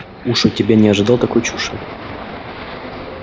уж от тебя не ожидал такой чуши